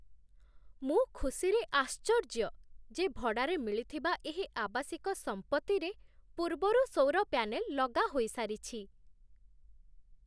ମୁଁ ଖୁସିରେ ଆଶ୍ଚର୍ଯ୍ୟ ଯେ ଭଡ଼ାରେ ମିଳିଥିବା ଏହି ଆବାସିକ ସମ୍ପତ୍ତିରେ ପୂର୍ବରୁ ସୌର ପ୍ୟାନେଲ୍ ଲଗା ହୋଇସାରିଛି।